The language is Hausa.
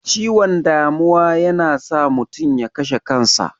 Ciwon damuwa yana iya sa mutum ya kashe kan sa.